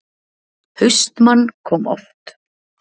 HAustmann kom oft.